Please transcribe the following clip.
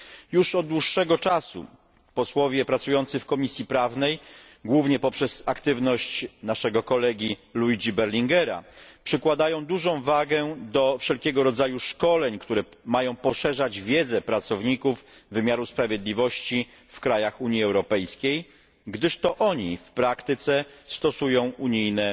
Już od dłuższego czasu posłowie pracujący w Komisji Prawnej, głównie poprzez aktywność naszego kolegi Luigiego Berlinguera, przykładają dużą wagę do wszelkiego rodzaju szkoleń, które mają poszerzać wiedzę pracowników wymiaru sprawiedliwości w krajach Unii Europejskiej, gdyż to oni w praktyce stosują unijne